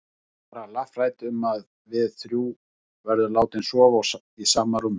Hún er bara lafhrædd um að við þrjú verðum látin sofa í sama rúmi.